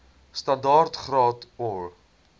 standaard graad or